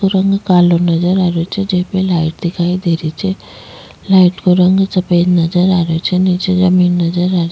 रंग कालो नजर आ रहियो छे जीपे लाइट दिखाई दे रही छे लाइट को रंग सफ़ेद नजर आ रहियो छे नीचे जमीन नजर आ --